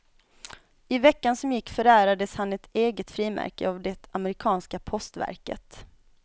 I veckan som gick förärades han ett eget frimärke av det amerikanska postverket.